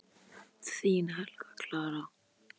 Þín Helga Clara.